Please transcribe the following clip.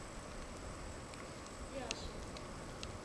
яша